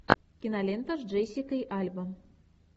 кинолента с джессикой альба